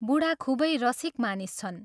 बूढा खूबै रसिक मानिस छन्।